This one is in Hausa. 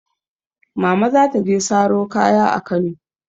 Mama za ta je saro kaya a Kano.